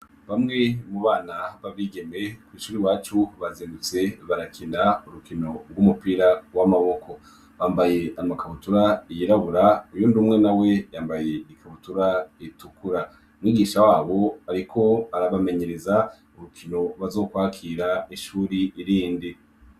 Bamwe mu bana b'abigeme kw'ishuri iwacu bazindutse barakina urukino rw'umupira w'amaboko. Bambaye amakabutura yirabura uyundi umwe na we yambaye ikabutura itukura, umwigisha wabo ariko arabamenyereza urukino bazokwakira ishuri rindi.